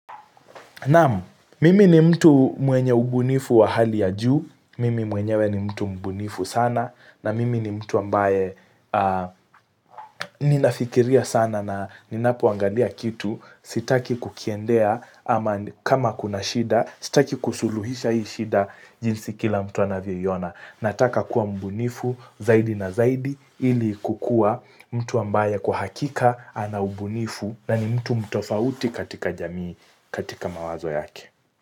Naamu, mimi ni mtu mwenye ubunifu wa hali ya juu, mimi mwenyewe ni mtu mbunifu sana, na mimi ni mtu ambaye ninafikiria sana na ninapuangalia kitu sitaki kukiendea ama kama kuna shida, sitaki kusuluhisha hii shida jinsi kila mtu anavyo iyona. Nataka kuwa mbunifu zaidi na zaidi ili kukua mtu ambaye kuhakika ana ubunifu na ni mtu mtofauti katika jamii katika mawazo yake.